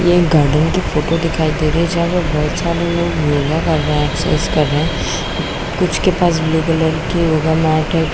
ये गार्डन की फोटो दिखाई दे रही है जहाँ पे बहुत सारे लोग योगा कर रहे हैं एक्सरसाइज कर रहे हैं कुछ के पास ब्लू कलर की योगा मैट हैं।